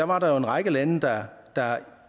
var der jo en række lande der